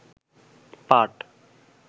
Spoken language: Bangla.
পাট